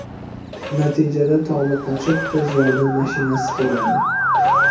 Natijada tobi qochib, tez yordam mashinasi keladi.